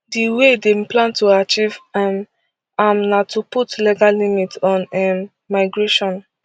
di way dem plan to achieve um am na to put legal limit on um migration